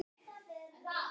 Er það endilega málið?